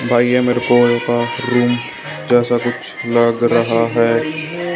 भाई ये मेरे को एक रूम जैसा कुछ लग रहा है।